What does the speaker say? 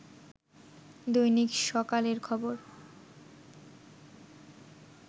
দৈনিক সকালের খবর